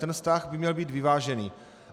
Ten vztah by měl být vyvážený.